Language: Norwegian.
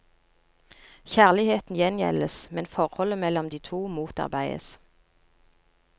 Kjærligheten gjengjeldes, men forholdet mellom de to motarbeides.